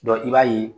i b'a ye